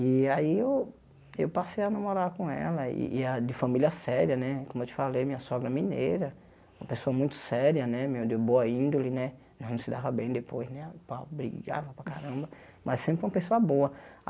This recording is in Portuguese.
E aí eu eu passei a namorar com ela, e e a de família séria, como eu te falei, minha sogra mineira, uma pessoa muito séria né, de boa índole né, nós não se dava bem depois né pau, brigava para caramba, mas sempre foi uma pessoa boa.